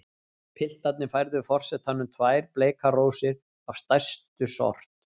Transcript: Piltarnir færðu forsetanum tvær bleikar rósir af stærstu sort.